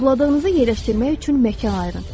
Arzuladığınızı yerləşdirmək üçün məkan ayırın.